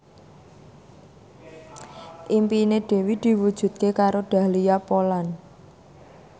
impine Dewi diwujudke karo Dahlia Poland